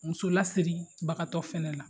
Muso lasiribagatɔ fana la